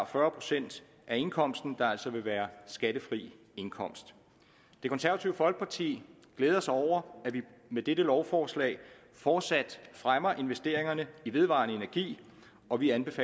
fyrre procent af indkomsten der altså vil være skattefri indkomst det konservative folkeparti glæder sig over at vi med dette lovforslag fortsat fremmer investeringerne i vedvarende energi og vi anbefaler